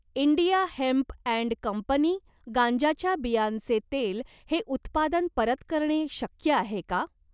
India hemp and company गांज्याच्या बियांचे तेल हे उत्पादन परत करणे शक्य आहे का?